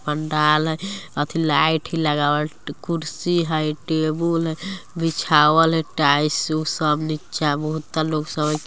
पंडाल हई अथि लाइट हई लगावलकुर्सी हय टेबुल बिछावल हई टाइएसु सब नीचा बहुत लोग सब हई |